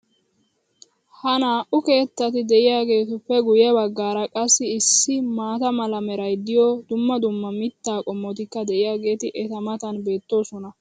Ha naa'u keettati diyaageetuppe guye bagaara qassi issi maata mala meray diyo dumma dumma mitaa qommotikka diyaageeti eta matan beetoosona.